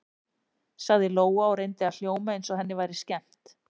sagði Lóa og reyndi að hljóma eins og henni væri skemmt.